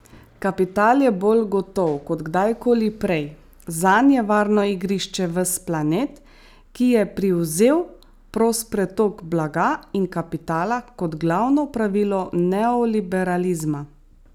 Kapital je bolj gotov kot kdajkoli prej, zanj je varno igrišče ves planet, ki je privzel prost pretok blaga in kapitala kot glavno pravilo neoliberalizma.